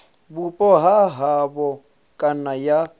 vhupo ha havho kana ya